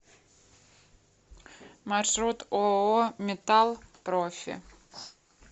маршрут ооо металл профи